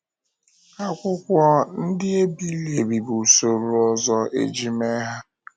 Akwụkwọ ndị e biri ebi bụ usoro ọzọ e ji mee ihe.